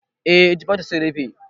Eh jifatu sun rufe